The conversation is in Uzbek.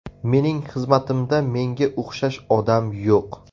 Mening xizmatimda menga o‘xshash odam yo‘q.